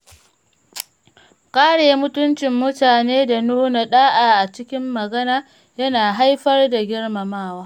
Kare mutuncin mutane da nuna ɗa’a a cikin magana yana haifar da girmamawa.